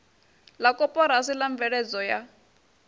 la koporasi la mveledzo ya